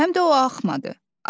Həm də o axmadı.